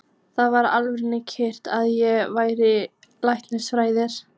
Það var algjör tilviljun að ég valdi læknisfræði.